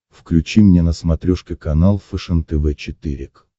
включи мне на смотрешке канал фэшен тв четыре к